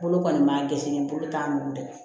Bolo kɔni ma gɛsɛnɛ bolo t'a nugu dɛ